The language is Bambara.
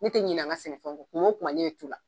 Ne tɛ ɲinɛ n ka sɛnɛfɛnw kɔ tuma o tuma ne ye tu la